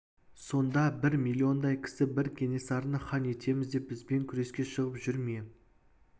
сонда бір миллиондай кісі бір кенесарыны хан етеміз деп бізбен күреске шығып жүр ме